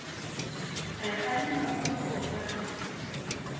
re kgalema mo re kopane